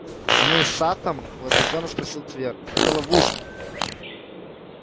змей саттом возбуждённо спросил твер это ловушка